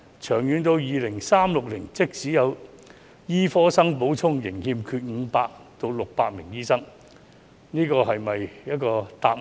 長遠而言，到2036年，即使有醫科生補充，仍會欠缺500至600名醫生，這是否一個答案？